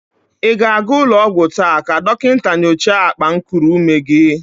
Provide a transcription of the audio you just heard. Ị ga-aga ụlọ ọgwọ taa ka dọkịnta nyocha akpankuru ume gi?